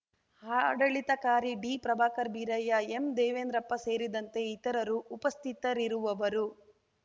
ಆಡಳಿತಾಧಿಕಾರಿ D Prabhakar Birayya M Devendrappa ಸೇರಿದಂತೆ ಇತರರು ಉಪಸ್ಥಿತರಿರುವವರು